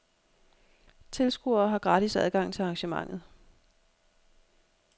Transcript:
Tilskuere har gratis adgang til arrangementet.